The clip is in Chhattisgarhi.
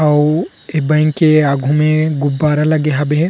अऊ ए बैंक के आघू मे गुब्बारा लगे हवे हे।